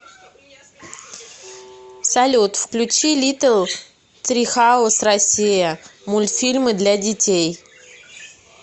салют включи литтл трихаус россия мультфильмы для детей